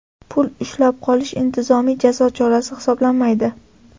Pul ushlab qolish intizomiy jazo chorasi hisoblanmaydi.